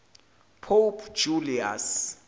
pope julius